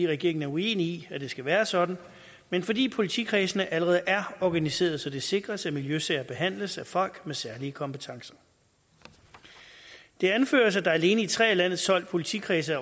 regeringen er uenig i at det skal være sådan men fordi politikredsene allerede er organiseret så det sikres at miljøsager behandles af folk med særlige kompetencer det anføres at der alene i tre af landets tolv politikredse